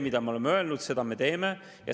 Mida me oleme öelnud, seda me teeme.